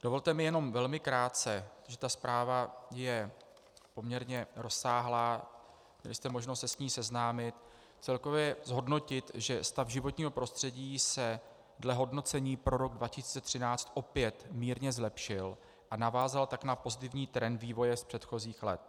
Dovolte mi jenom velmi krátce, protože ta zpráva je poměrně rozsáhlá, měli jste možnost se s ní seznámit, celkově zhodnotit, že stav životního prostředí se dle hodnocení pro rok 2013 opět mírně zlepšil a navázal tak na pozitivní trend vývoje z předchozích let.